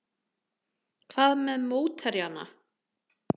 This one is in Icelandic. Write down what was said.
Hvað með mótherjana?